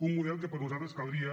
un model que per nosaltres caldria